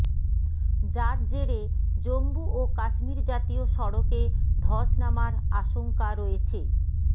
যার জেরে জম্মু ও কাশ্মীর জাতীয় সড়কে ধস নামার আশঙ্কা রয়েছে